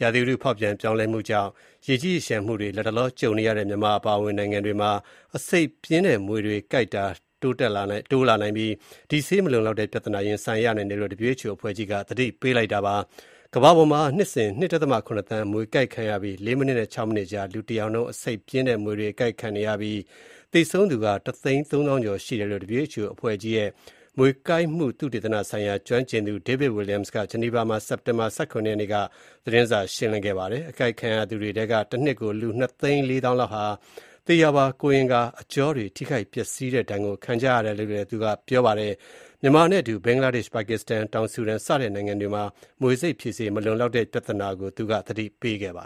ရာသီဥတု ဖေါက်ပြန်ပြောင်းလဲမှုတွေကြောင့် ရေကြီးရေလျှံမှုတွေ လတ်တလော ကြုံနေရတဲ့ မြန်မာနိုင်ငံအပါအဝင် နိုင်ငံတွေမှာ အဆိပ်ပြင်းတဲ့ မြွေကိုက်တာတွေ တိုးလာနိုင်ပြီး မြွေဆိပ်ဖြေဆေး မလုံလောက်တဲ့ ပြဿနာ ရင်ဆိုင်ရနိုင်တာကို WHO ကမ္ဘာ့ကျန်းမာရေး အဖွဲ့ကြီးက သတိပေးထားပါတယ်။ ကမ္ဘာပေါ်မှာ နှစ်စဉ် လူ ၂.၇ သန်း မြွေကိုက်ခံရပြီး ၄ မိနစ်နဲ့ ၆ မိနစ်ကြား လူတယောက်နှုန်း အဆိပ်ပြင်းတဲ့ မြွေတွေ အကိုက်ခံနေရတဲ့အကြောင်း၊ သေဆုံးသူ အရေအတွက် တသိန်းသုံးသောင်းကျော် ရှိတဲ့အကြောင်း WHO အဖွဲ့ကြီးရဲ့ မြွေကိုက်မှု သုတေသနဆိုင်ရာ ကျွမ်းကျင်သူ David Williams က ဆွစ်ဇာလန်နိုင်ငံ ဂျနီဗာမှာ စက်တင်ဘာ ၁၇ ရက်နေ့ကကျင်းပတဲ့ သတင်းစာရှင်းလင်းပွဲမှာ ပြောဆိုပါတယ်။ အကိုက်ခံရသူတွေထဲက တနှစ်ကို လူ နှစ်သိန်း လေးသောင်းလောက်ဟာ သေရာပါ ကိုယ်အင်္ဂါ အကြောတွေ ထိခိုက်ပျက်စီးတဲ့ ဒဏ်ကို ခံကြရတယ်လို့ ပြောပါတယ်။ မြန်မာနိုင်ငံနဲ့အတူ ဘင်္ဂလားဒေ့ရှ်၊ ပါကစ္စတန်၊ တောင်ဆူဒန် စတဲ့နိုင်ငံတွေမှာ မြွေဆိပ်ဖြေဆေး မလုံလောက်တဲ့ ပြဿနာကို သူက သတိပေးတာပါ